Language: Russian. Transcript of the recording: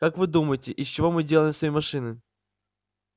как вы думаете из чего мы делаем свои машины